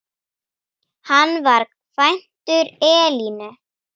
Hann var kvæntur Elínu